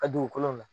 Ka dugukolo la